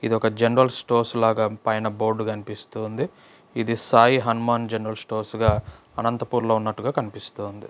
ఇది యొక్క general stores లాగా పైన బోర్డు కనిపిస్తుంది ఇది సాయి హనుమాన్ జనరల్ స్టోర్స్గా అనంతపురంలో ఉన్నట్లుగా కనిపిస్తోంది.